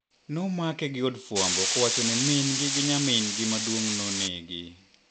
Nomake gi od fwambo kowacho ni min gi gi nyamin gi maduong' nonegi.